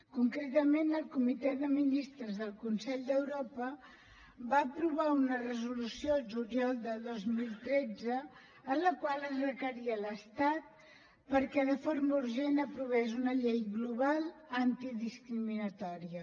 concretament el comitè de ministres del consell d’europa va aprovar una resolució el juliol del dos mil tretze en la qual es requeria l’estat perquè de forma urgent aprovés una llei global antidiscriminatòria